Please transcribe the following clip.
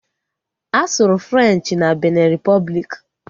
A sụrụ Frenchi na Binin Ripọbliki